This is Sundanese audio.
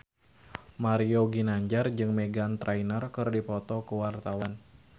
Mario Ginanjar jeung Meghan Trainor keur dipoto ku wartawan